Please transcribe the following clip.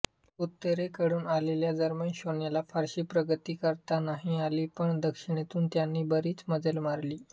उत्तरेकडून आलेल्या जर्मन सैन्याला फारशी प्रगती करता नाही आली पण दक्षिणेतून त्यांनी बरीच मजल मारली